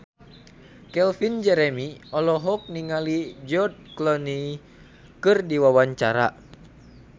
Calvin Jeremy olohok ningali George Clooney keur diwawancara